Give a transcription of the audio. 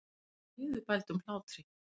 Hún hló niðurbældum hlátri.